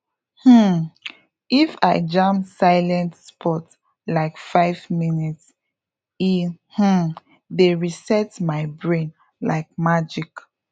um if i jam silent spot like five minutes e um dey reset my brain like magic